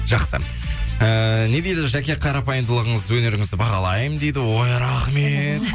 жақсы ыыы не дейді жәке қарапайымдылығыңыз өнеріңізді бағалаймын дейді ой рахмет